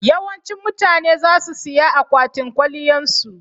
Yawancin mutane za su siya akwatin kwaliyan su.